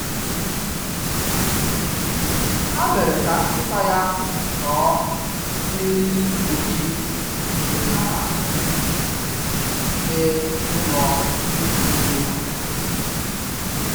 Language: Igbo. ha mere ka nkita ya no n'eriri mgbochi mgbe ha na-eje n'ụlọ egwuregwu obodo